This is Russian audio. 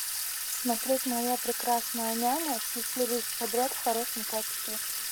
смотреть моя прекрасная няня все серии подряд в хорошем качестве